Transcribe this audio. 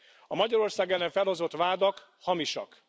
A Magyarország ellen felhozott vádak hamisak.